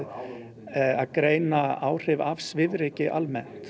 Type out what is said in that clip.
að greina áhrif af svifryki almennt